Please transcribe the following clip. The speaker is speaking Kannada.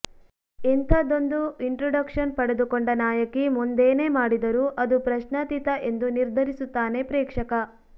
ಇಂಥದೊಂದು ಇಂಟ್ರಡಕ್ಷನ್ ಪಡೆದುಕೊಂಡ ನಾಯಕಿ ಮುಂದೇನೇ ಮಾಡಿದರೂ ಅದು ಪ್ರಶ್ನಾತೀತ ಎಂದು ನಿರ್ಧರಿಸುತ್ತಾನೆ ಪ್ರೇಕ್ಷಕ